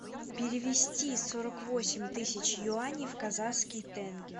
перевести сорок восемь тысяч юаней в казахские тенге